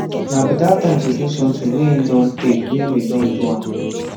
na beta time to do somethings way e don tay way we don do am